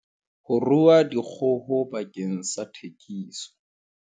Ho rua dikgoho bakeng sa thekiso.